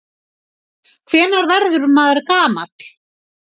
Hvenær verður maður gamall?